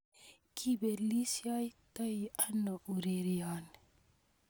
Kipelistoi ano ureryoni?